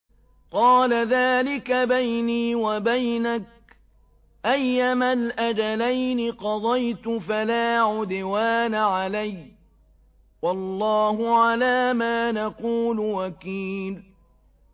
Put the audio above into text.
قَالَ ذَٰلِكَ بَيْنِي وَبَيْنَكَ ۖ أَيَّمَا الْأَجَلَيْنِ قَضَيْتُ فَلَا عُدْوَانَ عَلَيَّ ۖ وَاللَّهُ عَلَىٰ مَا نَقُولُ وَكِيلٌ